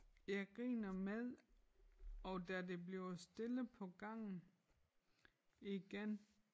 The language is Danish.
Jeg griner med og da det bliver stille på gangen igen